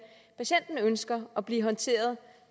patienten ønsker at blive håndteret